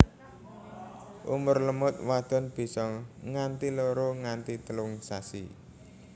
Umur lemut wadon bisa nganti loro nganti telung sasi